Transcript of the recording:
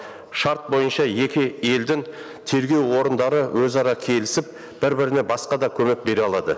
шарт бойынша екі елдің тергеу орындары өзара келісіп бір біріне басқа да көмек бере алады